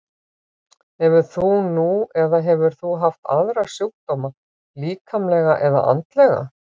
Hefur þú nú eða hefur þú haft aðra sjúkdóma, líkamlega eða andlega?